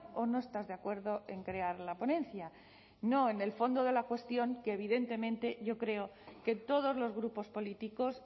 o no estás de acuerdo en crear la ponencia no en el fondo de la cuestión que evidentemente yo creo que todos los grupos políticos